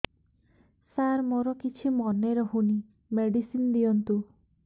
ସାର ମୋର କିଛି ମନେ ରହୁନି ମେଡିସିନ ଦିଅନ୍ତୁ